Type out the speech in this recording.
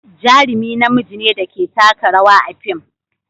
Jarumi namiji ne da ke taka rawa a fim.